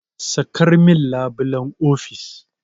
Sakar min labulen ofis!